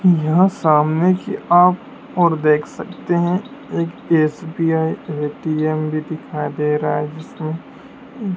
यहां सामने की आप ओर देख सकते हैं एक एस_बी_आई ए_टी_एम भी दिखाई दे रहा है जीसमें--